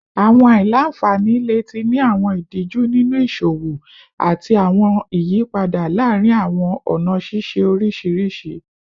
Awọn aila-nfani le ti ni awọn idiju ninu iṣowo ati awọn iyipada laarin awọn ọna ṣiṣe oriṣiriṣi